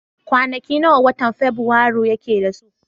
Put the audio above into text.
Kwanaki nawa watan fabirairu yake da su?